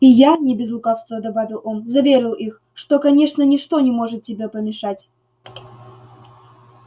и я не без лукавства добавил он заверил их что конечно ничто не может тебе помешать